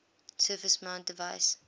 surface mount device